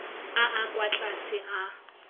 a a kwa tlase a